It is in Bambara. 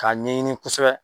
K'a ɲɛɲini kosɛbɛ.